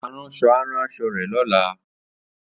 Aránṣọ á rán aṣọ rẹ̀ lọ́la